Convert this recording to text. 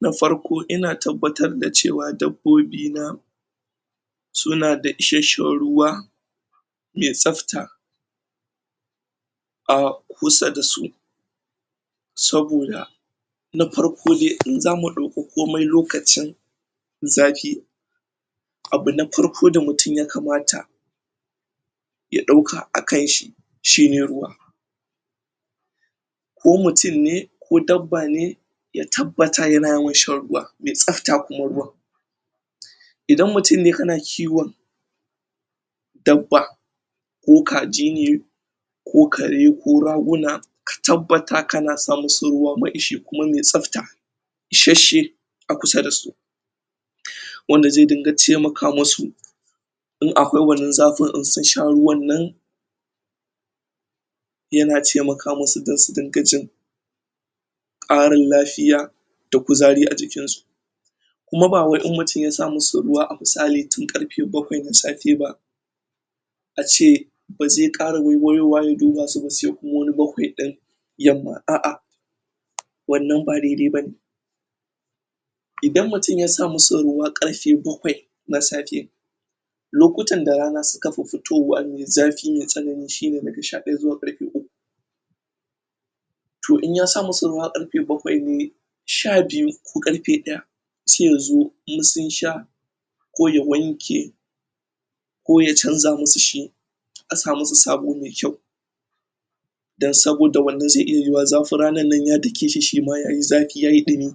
Na farko ina tabbatar da cewa dabobi na suna da isheshen ruwa me sabta a kusa dasu saboda na farko dai in zamu douko komai lakocin zafi abuna farko da mutum ya kamata ya dauka a kanshi, shi ne ruwa ko mutum ne, ko dabba ne, ya tabbatar ya na yawan shan ruwa me sabta kuma ruwan. Idan mutum ne kana kiwon dabba ko kaji ne ko kare ko, raguna, ka tabbatar kana sa musu ruwa ma ishe kuma me sabta isheshe a kusa da su wanda ze dinga temaka musu in akwai wannan zafin iseshen ruwan nan ya na temaka musu don su dinga jin ƙarin lafiya da kuzari a jikin su, Kuma ba wai in mutum ya sa musu ruwa misali tun karfe bakwai na safe ba a ce ba ze kara waiwayowa ya dubasu ba se kuma wani bakwai din yama aah. Wannan ba dedai ba ne Idan mutum ya sa musu ruwa karfe bakwai na safe lokutan da rana su kan fifito wa me zafi me sanani shi ne da ga sha daya zuwa karfe uku toh in ya sa musu ruwa karfe bakwai ne sha biyu ko karfe daya sai ya zo in sun sha ko ya wanke ko ya canza masu shi, a sa musu sabo mai kyau dan saboda wannan ze iya yuwa zafin ranan nan ya dake shi, shi ma yayi zafi, yayi ɗumi.